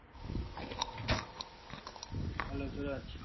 hello Suraj.